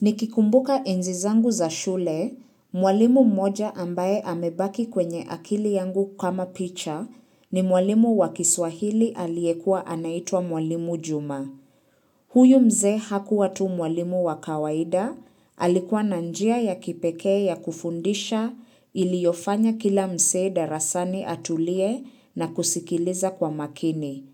Nikikumbuka enzi zangu za shule, mwalimu mmoja ambaye amebaki kwenye akili yangu kama picha ni mwalimu wa kiswahili aliyekua anaitwa mwalimu juma. Huyu mzee hakuwa tu mwalimu wa kawaida, alikuwa na njia ya kipekee ya kufundisha iliyofanya kila msee darasani atulie na kusikiliza kwa makini.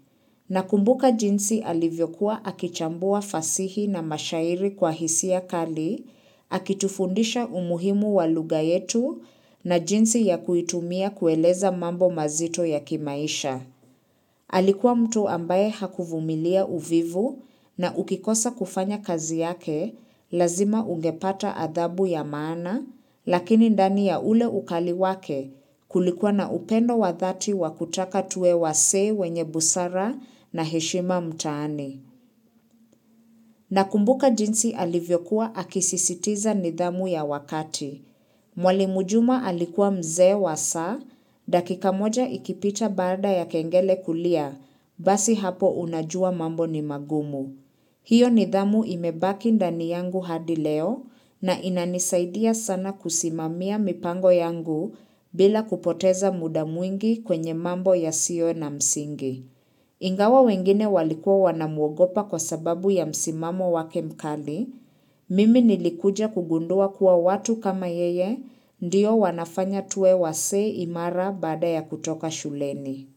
Na kumbuka jinsi alivyokuwa akichambua fasihi na mashairi kwa hisia kali, akitufundisha umuhimu wa lugha yetu na jinsi ya kuitumia kueleza mambo mazito ya kimaisha. Alikuwa mtu ambaye hakuvumilia uvivu na ukikosa kufanya kazi yake, lazima ungepata adhabu ya maana, lakini ndani ya ule ukali wake kulikuwa na upendo wa dhati wa kutaka tuwe wasee wenye busara na heshima mtaani. Na kumbuka jinsi alivyokuwa akisisitiza nidhamu ya wakati. Mwalimu juma alikuwa mzee wa saa, dakika moja ikipita baada ya kengele kulia, basi hapo unajua mambo ni magumu. Hiyo nidhamu imebaki ndani yangu hadi leo na inanisaidia sana kusimamia mipango yangu bila kupoteza muda mwingi kwenye mambo ya siyo na msingi. Ingawa wengine walikua wanamwogopa kwa sababu ya msimamo wake mkali, mimi nilikuja kugundua kuwa watu kama yeye ndiyo wanafanya tuwe wasee imara baada ya kutoka shuleni.